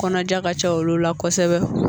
Kɔnɔja ka ca olu la kosɛbɛ